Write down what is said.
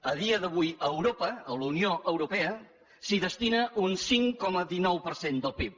a dia d’avui a europa a la unió europea s’hi destina un cinc coma dinou per cent del pib